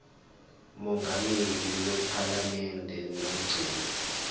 mongameli wephalamende nomgcini